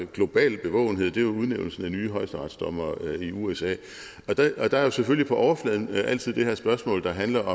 global bevågenhed er udnævnelsen af nye højesteretsdommere i usa og der er jo selvfølgelig på overfladen altid det her spørgsmål der handler